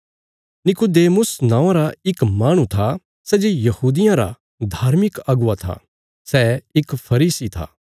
निकुदेमुस नौआं रा इक माहणु था सै जे यहूदियां रा धार्मिक अगुवा था सै इक फरीसी था